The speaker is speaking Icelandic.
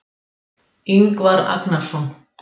Ingvar Agnarsson.